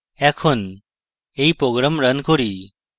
এখন এই program run করি